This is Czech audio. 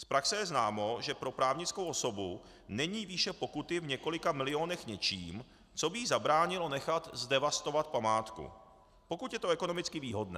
Z praxe je známo, že pro právnickou osobu není výše pokuty v několika milionech něčím, co by jí zabránilo nechat zdevastovat památku, pokud je to ekonomicky výhodné.